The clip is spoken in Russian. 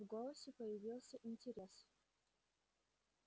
в голосе появился интерес